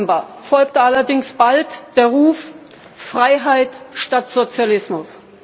Dem 9. November folgte allerdings bald der Ruf Freiheit statt Sozialismus.